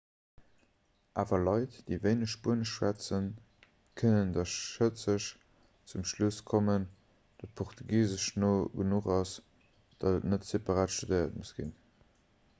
awer leit déi wéineg spuenesch schwätzen kënnen da schëtzeg zum schluss kommen datt portugisesch no genuch ass datt et net separat studéiert muss ginn